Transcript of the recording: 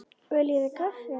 Viljið þið kaffi?